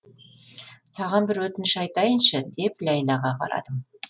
саған бір өтініш айтайыншы деп ләйлаға қарадым